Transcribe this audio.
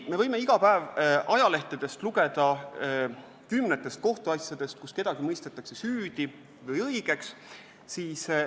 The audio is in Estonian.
Me võime iga päev ajalehtedest lugeda kümnetest kohtuasjadest, kus kedagi mõistetakse süüdi või õigeks.